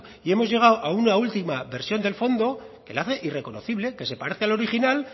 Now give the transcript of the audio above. y hemos llegado a una última versión del fondo que le hace irreconocible que se parece al original